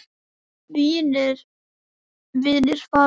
Mínir vinir fara fjöld